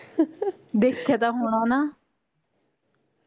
ਦੇਖਿਆ ਤਾਂ ਹੋਣਾ ਨਾ